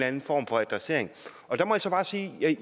anden form for adressering